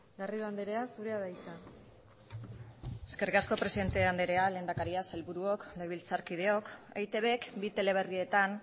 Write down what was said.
garrido andrea zurea da hitza eskerrik asko presidente andrea lehendakaria sailburuok legebiltzarkideok eitbk bi teleberrietan